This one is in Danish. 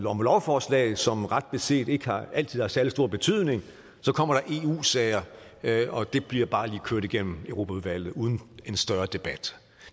om lovforslag som ret beset ikke altid har særlig stor betydning så kommer der eu sager og de bliver bare lige kørt igennem europaudvalget uden en større debat